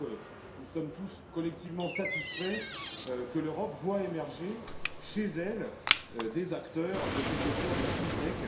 Je crois que nous sommes tous collectivement satisfaits que l'Europe voie émerger chez elle des acteurs de ce secteur des FinTech.